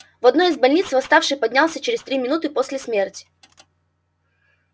в одной из больниц восставший поднялся через три минуты после смерти